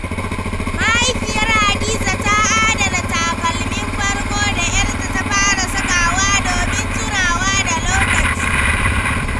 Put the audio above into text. Mahaifiyar Hadiza ta adana takalmin farko da ‘yarta ta fara sakawa domin tunawa da lokaci.